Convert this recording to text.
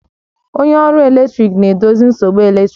Onye ọrụ eletrik na-edozi nsogbu eletrik